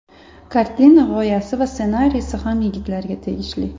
Kartina g‘oyasi va ssenariysi ham yigitlarga tegishli.